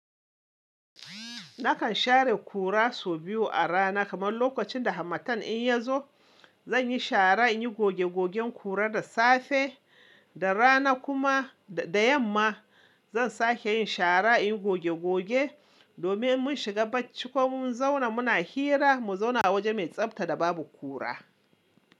Nakan share kura sau biyu a rana. Kamar lokacin da hamatan in ya zo, zan yi shara, in yi goge gogen kura da safe da rana kuma da yamma. Zan sake yin shara, in yi goge goge domin mun shiga bacci ko mun zauna muna hira, mu zauna a waje mai tsafta da babu kura.